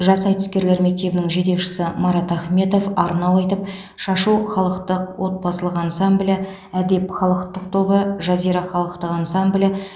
жас айтыскерлер мектебінің жетекшісі марат ахметов арнау айтып шашу халықтық отбасылық ансамблі әдеп халықтық тобы жазира халықтық ансамблі